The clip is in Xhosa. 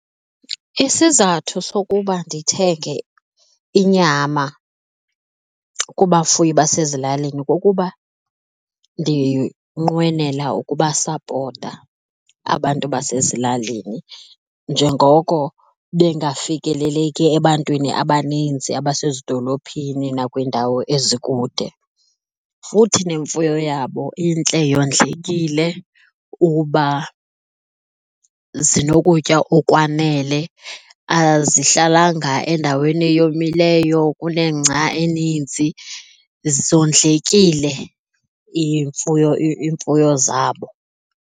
Isizathu sokuba ndithenge inyama kubafuyi basezilalini kukuba ndinqwenela ukubasapota abantu basezilalini njengoko bengafikeleki ebantwini abaninzi abasezidolophini nakwiindawo ezikude. Futhi nemfuyo yabo intle, yondlekile uba zinokutya okwanele, azihlalanga endaweni eyomileyo kunengca eninzi, zondlekile iimfuyo iimfuyo zabo.